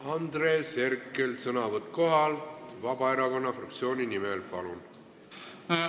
Andres Herkel, sõnavõtt kohalt Vabaerakonna fraktsiooni nimel, palun!